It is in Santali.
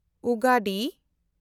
ᱩᱜᱟᱰᱤ